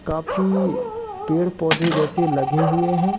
काफी पेड़-पौधे जैसे लगे हुए है।